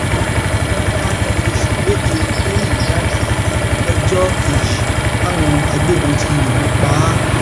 wọn bá ọmọ oṣù méje lẹyìn ìyá ẹ lọjọ kejì táwọn agbébọn ti yìnbọn pa á